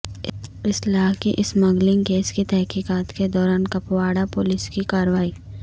اسلحہ کی smuggling case کی تحقیقات کے دوران کپواڑہ پولیس کی کارورائی